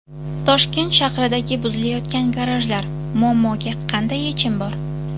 Toshkent shahridagi buzilayotgan garajlar: muammoga qanday yechim bor?.